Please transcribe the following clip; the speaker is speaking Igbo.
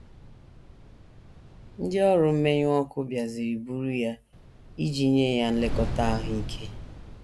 Ndị ọrụ mmenyụ ọkụ bịaziri buru ya iji nye ya nlekọta ahụ ike.